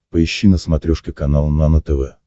поищи на смотрешке канал нано тв